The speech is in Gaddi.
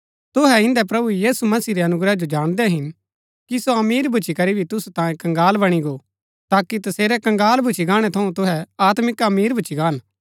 तुहै इन्दै प्रभु यीशु मसीह रै अनुग्रह जो जाणदै हिन कि सो अमीर भूच्ची करी भी तुसु तांयें कंगाल बणी गो ताकि तसेरै कंगाल भूच्ची गाणै थऊँ तुहै आत्मिक अमीर भूच्ची गान